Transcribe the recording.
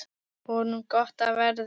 Honum gott af verði.